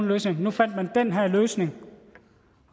løsninger nu fandt man den her løsning